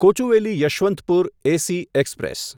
Kochuveli Yesvantpur AC express